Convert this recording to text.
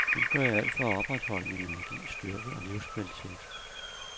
Nu gør jeg alt for at opretholde min energi, styrke og livskvalitet.